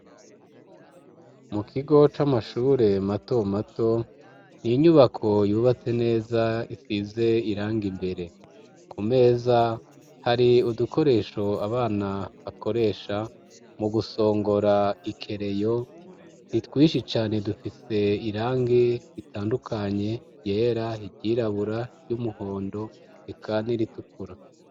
Mu kigo c'amashure mato mato, n'inyubako yubatse neza, isize irangi imbere, ku meza hari udukoresho abana bakoresha mu gusongora ikereyo, ntitwishi cane, dufise irangi ritandukanye iryera, iryirabura, iry'umuhondo reka n'iritukura.